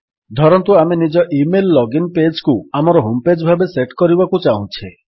ଧରନ୍ତୁ ଆମେ ନିଜ ଇମେଲ୍ ଲଗିନ୍ ପେଜ୍ କୁ ଆମର ହୋମ୍ ପେଜ୍ ଭାବରେ ସେଟ୍ କରିବାକୁ ଚାହୁଁଛେ